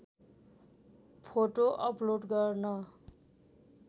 photo upload गर्न